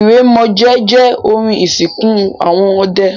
Ìrèmọ̀jé jẹ́ orin ìsìnkú àwọn ọdẹ.